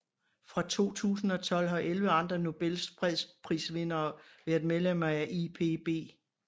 Fra 2012 har elleve andre Nobels fredsprisvindere været medlemmer af IPB